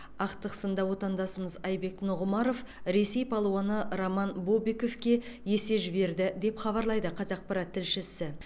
ақтық сында отандасымыз айбек нұғымаров ресей палуаны роман бобиковке есе жіберді деп хабарлайды қазақпарат тілшісі